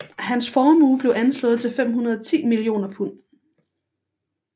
Hans formue blev anslået til 510 millioner pund